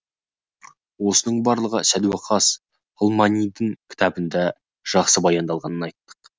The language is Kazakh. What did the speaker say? осының барлығы сәдуақас ғылманидың кітабында жақсы баяндалғанын айттық